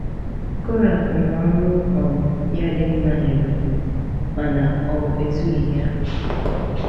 Korah nwere ọrụ um ya dị mma n’Ebonyi, mana ọ ezughị ya.